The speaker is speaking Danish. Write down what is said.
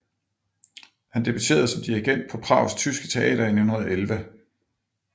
Han debuterede som dirigent på Prags Tyske Teater i 1911